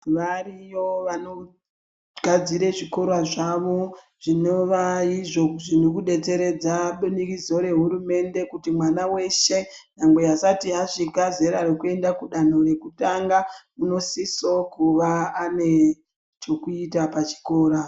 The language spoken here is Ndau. Variyo vanogadzire zvikora zvavo zvinova izvo zvirikudetseredza budikidzo rehurumende kuti mwana weshe asati asvika zera rekuenda kudanho rekutanga unosisawo kuva anechekuita pachikora.